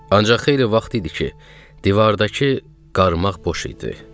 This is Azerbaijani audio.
Ancaq xeyli vaxt idi ki, divardakı qarmaq boş idi.